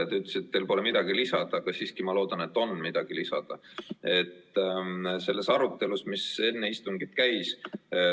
Te ütlesite, et teil pole midagi lisada, aga ma siiski loodan, et teil on midagi lisada sellele arutelule, mis istungi alguses käis.